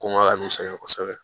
Kɔngɔ ka ne sɛgɛn kosɛbɛ